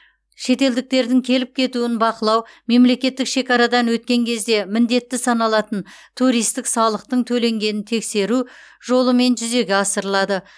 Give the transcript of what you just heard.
шетелдіктердің келіп кетуін бақылау мемлекеттік шекарадан өткен кезде міндетті саналатын туристік салықтың төленгенін тексеру жолымен жүзеге асырылады